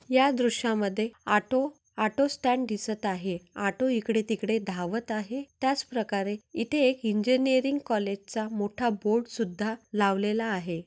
या दृश्या मध्ये आटो ऑटो स्टँड दिसत आहे ऑटो इकडे तिकडे धावत आहे त्याच प्रकारे इथे एक इजिनिअरिंग कॉलेज चा मोठा बोर्ड सुद्धा लावलेला आहे.